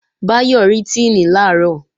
Báyọ̀ rí Tíìnì làárọ̀